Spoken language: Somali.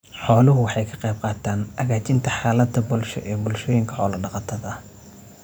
Xooluhu waxay ka qaybqaataan hagaajinta xaaladda bulsho ee bulshooyinka xoolo-dhaqatada ah.